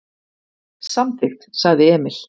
Samþykkt, sagði Emil.